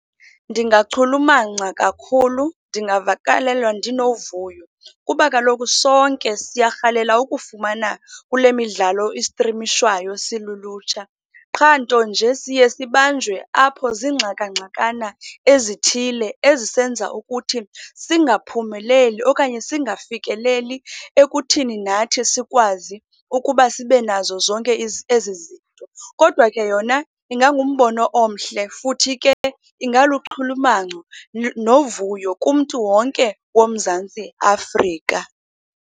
Ndingachulumanca kakhulu, ndingavakalelwa ndinovuyo kuba kaloku sonke siyarhalela ukufumana kule midlalo istrimishwayo silulutsha. Qha, nto nje siye sibanjwe apho ziingxakangxakana ezithile ezisenza ukuthi singaphumeleli okanye singafikeleli ekuthini nathi sikwazi ukuba sibe nazo zonke ezi zinto. Kodwa ke, yona ingangumbono omhle futhi ke ingaluchulumanco novuyo kumntu wonke woMzantsi Afrika.